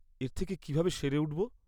এর থেকে কীভাবে সেরে উঠবো?